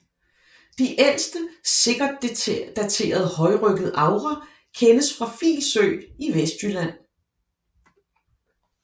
De ældste sikkert daterede højryggede agre kendes fra Filsø i Vestjylland